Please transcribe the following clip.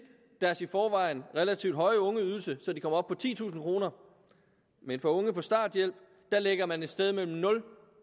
deres i forvejen relativt høje ungeydelse så de kommer op på titusind kroner men for unge på starthjælp lægger man et sted mellem nul